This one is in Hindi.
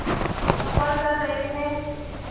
सफ़र कर रहे थे